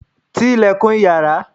ti ilẹ̀kùn yàrá